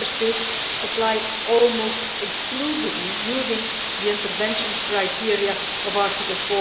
Some Member States apply this almost exclusively using the intervention criteria of Article